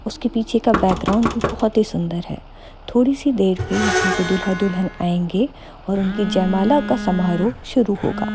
उसके पीछे का बैकग्राउंड भी बहोत ही सुन्दर है थोड़ी सी देर में यहाँ पे दूल्हा दुल्हन आयंगे और उनके जयमाला का समारोह शुरू होगा।